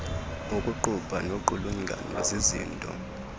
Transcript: ukuqupha noqulungano zizinto